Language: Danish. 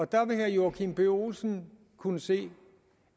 der vil herre joachim b olsen kunne se